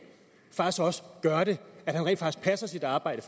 også gør det at han rent faktisk passer sit arbejde